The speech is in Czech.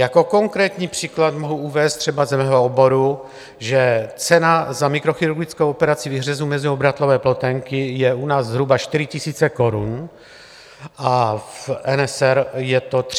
Jako konkrétní příklad mohu uvést třeba z mého oboru, že cena za mikrochirurgickou operaci výhřezu meziobratlové ploténky je u nás zhruba 4 000 korun a v SRN je to 3 800 eur.